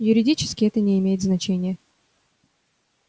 юридически это не имеет значения